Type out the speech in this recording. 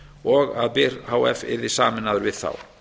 og að byr h f yrði sameinaður við þá